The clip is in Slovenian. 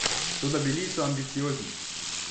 Toda bili so ambiciozni.